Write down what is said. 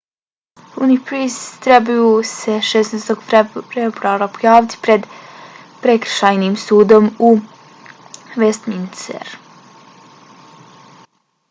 huhne i pryce trebaju se 16. februara pojaviti pred prekršajnim sudom u westminsteru